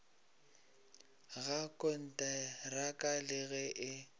ga konteraka le ge e